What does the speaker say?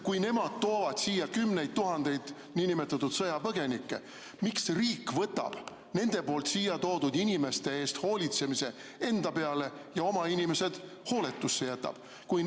Kui nemad toovad siia kümneid tuhandeid niinimetatud sõjapõgenikke, siis miks riik võtab nende siia toodud inimeste eest hoolitsemise enda peale ja jätab oma inimesed hooletusse?